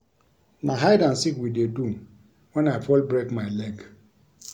Na hide and seek we dey do wen I fall break my leg